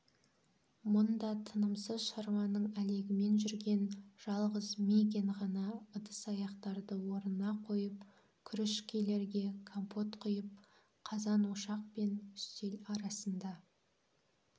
мұнда тынымсыз шаруаның әлегімен жүрген жалғыз мигэн ғана ыдыс-аяқтарды орнына қойып күріжкелерге компот құйып қазан-ошақ пен үстел арасында